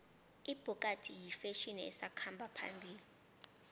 ibhokadi yifetjheni esakhamba phambili